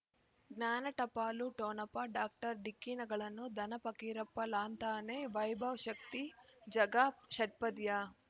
ಜ್ಞಾನ ಟಪಾಲು ಠೊಣಪ ಡಾಕ್ಟರ್ ಢಿಕ್ಕಿ ಣಗಳನು ಧನ ಫಕೀರಪ್ಪ ಳಂತಾನೆ ವೈಭವ್ ಶಕ್ತಿ ಝಗಾ ಷಟ್ಪದಿಯ